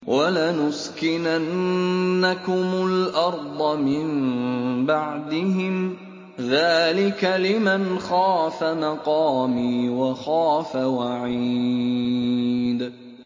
وَلَنُسْكِنَنَّكُمُ الْأَرْضَ مِن بَعْدِهِمْ ۚ ذَٰلِكَ لِمَنْ خَافَ مَقَامِي وَخَافَ وَعِيدِ